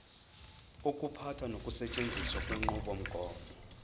ukuphatha nokusetshenziswa kwenqubomgomo